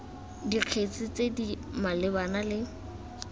dikgetse tse di malebana le